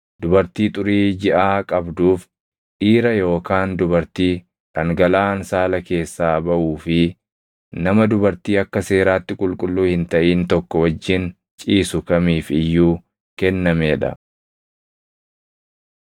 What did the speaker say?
dubartii xurii jiʼaa qabduuf, dhiira yookaan dubartii dhangalaʼaan saala keessaa baʼuu fi nama dubartii akka seeraatti qulqulluu hin taʼin tokko wajjin ciisu kamiif iyyuu kennamee dha.